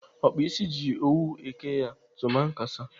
Ọkpa ịsị ji owu eke ya tumankasa.